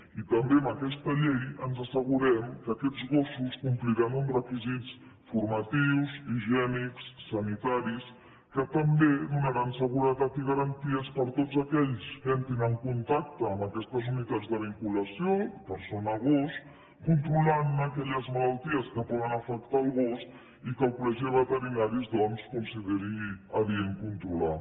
i també amb aquesta llei ens assegurem que aquests gossos compliran uns requisits formatius higiènics sanitaris que també donaran seguretat i garanties per a tots aquells que entrin en contacte amb aquestes unitats de vinculació persona gos controlant ne aquelles malalties que poden afectar el gos i que el col·legi de veterinaris doncs consideri adient controlar